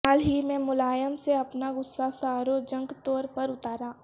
حال ہی میں ملائم نے اپنا غصہ ساروجنک تور پر اتارا